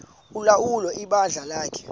ulawula ibandla lakhe